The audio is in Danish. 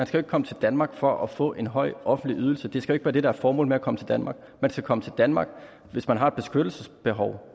skal komme til danmark for at få en høj offentlig ydelse det skal ikke være det der er formålet med at komme til danmark man skal komme til danmark hvis man har et beskyttelsesbehov